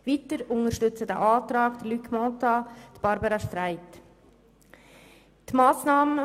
Weiter wird dieser Antrag von Luc Mentha und Barbara Streit unterstützt.